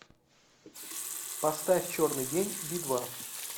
поставь черный день би два